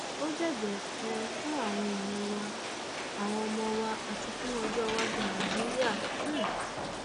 ó jẹ ẹjẹ um fún àwọn èèyàn wa àwọn ọmọ wa àti fún ọjọ iwájú nàìjíríà um